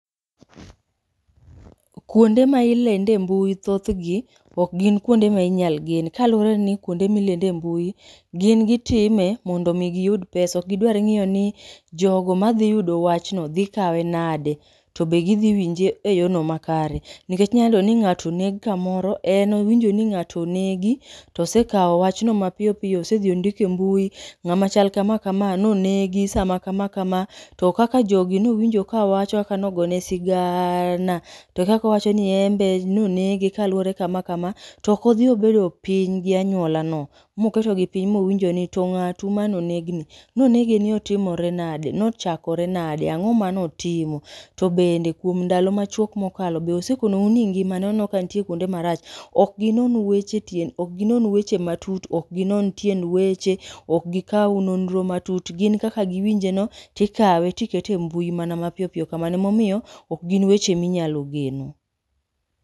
Kuonde ma ilende mbui thoth gi ok gin kuonde ma inyal gen, kaluwre ni kuonde milende mbui gin gitime mondo mi giyud pesa. Ok gidwar ng'iyo ni jogo madhi yudo wach no dhi kawe nade, to be gidhi winje e yo no ma kare? Nikech inya yudo ni ng'ato oneg kamoro, en owinjo ni ng'ato onegi to sekawo wachno mapiyo piyo. Osedhi ondike mbui, ng'ama chal kama kama no negi sa ma kama kama. To kaka jogi nowinjo ka wacho kaka nogone sigaaana, to e kakowacho ni embe nonege kama kama. To okodhi obedo piny gi anyuola no, moketogi piny mowinjo ni to ng'atu mono neg ni, no nege ni otimore nade? Nochakore nade, ang'o ma notimo? To bende e kuom ndalo machuok mokalo, be osekonou ni ngimane oneno ka ntie kuonde marach? Ok ginon weche tien, ok ginon weche matut, ok ginon tien weche, ok gikaw nonro matut. Gin kaka giwinje no tikawe tikete e mbui mana ma piyo piyo kamano. Emomiyo okgin weche minyalo geno.